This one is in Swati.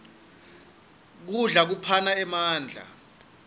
kudla lokuphana emandla